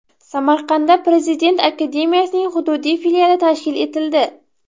Samarqandda prezident akademiyasining hududiy filiali tashkil etildi.